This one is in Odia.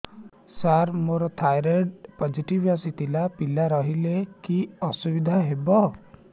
ସାର ମୋର ଥାଇରଏଡ଼ ପୋଜିଟିଭ ଆସିଥିଲା ପିଲା ରହିଲେ କି ଅସୁବିଧା ହେବ